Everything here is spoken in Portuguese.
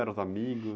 Eram os amigos?